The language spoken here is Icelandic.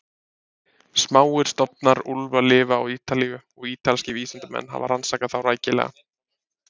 Smáir stofnar úlfa lifa á Ítalíu og ítalskir vísindamenn hafa rannsakað þá rækilega.